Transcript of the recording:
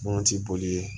Moti boli